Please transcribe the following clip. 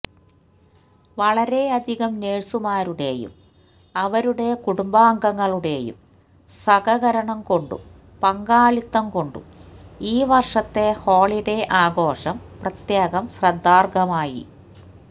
വളരെയധികം നേഴ്സുമാരുടെയും അവരുടെ കുടുംബാംഗങ്ങളുടെയും സഹകരണം കൊണ്ടും പങ്കാളിത്തം കൊണ്ടും ഈ വര്ഷത്തെ ഹോളിഡേ ആഘോഷം പ്രത്യേകം ശ്രദ്ധാര്ഹമായി